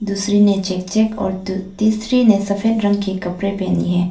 दूसरे ने check check और त तीसरी ने सफेद रंग के कपड़े पहनी है।